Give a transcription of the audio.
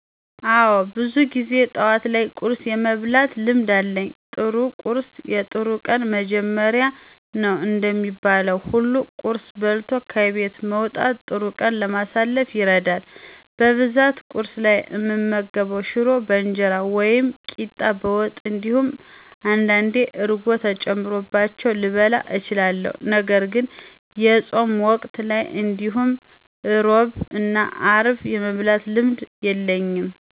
አወ ብዙ ጊዜ ጠዋት ላይ ቁርስ የመብላት ልምድ አለኝ። ጥሩ ቁርስ የጥሩ ቀን መጀመሪያ ነው እንደሚባለው ሁሉ ቁርስ በልቶ ከቤት መውጣት ጥሩ ቀን ለማሳለፍ ይረዳል። በብዛት ቁርስ ላይ እምመገበው ሽሮ በእንጀራ ወይም ቂጣ በወጥ እንዲሁም አንዳንዴ እርጎ ተጨምሮባቸው ልበላ እችላለሁ። ነገርግን የፆም ወቅት ላይ እንዲሁም ሕሮብ እና ሀርብ የመብላት ልምዱ የለኝም።